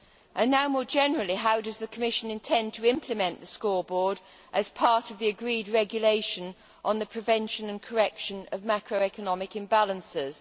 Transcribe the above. And now, more generally, how does the Commission intend to implement the scoreboard as part of the agreed regulation on the prevention and correction of macroeconomic imbalances?